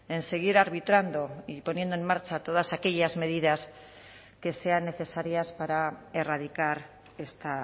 en seguir arbitrando y poniendo en marcha todas aquellas medidas que sean necesarias para erradicar esta